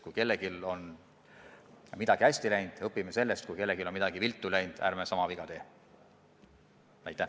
Kui kellelgi on midagi hästi läinud, siis õpime sellest, kui kellelgi on midagi viltu läinud, ärme sama viga teeme.